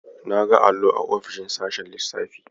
Na ga allo a ofisoshin sashen lissafi.